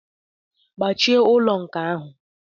Gbachie ụlọ nkà ahụ!